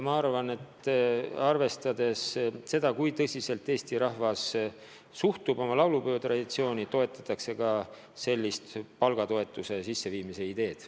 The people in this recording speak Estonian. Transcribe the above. Ma usun, et arvestades seda, kui tõsiselt eesti rahvas suhtub oma laulupeotraditsiooni, toetatakse ka sellist palgatoetuse juurutamise ideed.